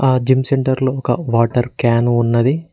ఆ gym centre లో ఒక వాటర్ క్యాను ఉన్నది.